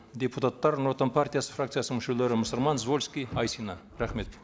депутаттар нұр отан партиясы фракциясының мүшелері мұсырман звольский айсина рахмет